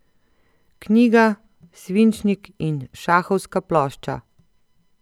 Knjiga, svinčnik in šahovska plošča!